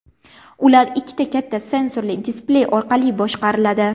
Ular ikkita katta sensorli displey orqali boshqariladi.